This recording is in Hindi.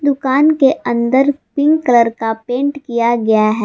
दुकान के अंदर पिंक कलर का पेंट किया गया है।